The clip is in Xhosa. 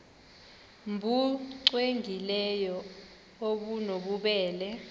nbu cwengileyo obunobubele